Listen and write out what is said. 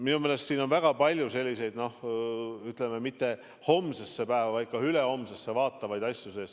Minu meelest on siin väga palju selliseid, ütleme, mitte homsesse päeva, vaid ka ülehomsesse vaatavaid asju sees.